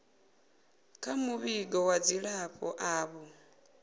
kha muvhigo wa dzilafho avho